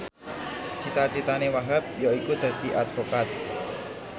cita citane Wahhab yaiku dadi advokat